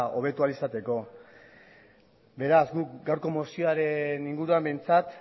hobetu ahal izateko beraz gu gaurko mozioaren inguruan behintzat